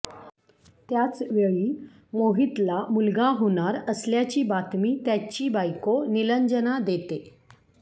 त्याचवेळी मोहितला मुलगा होणार असल्याची बातमी त्याची बायको निलंजना देते